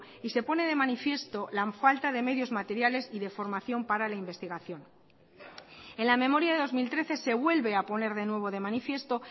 y se pone de manifiesto la falta de medios materiales y de formación para la investigación en la memoria de dos mil trece se vuelve a poner de nuevo de manifiesto